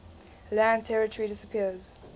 land territory disappears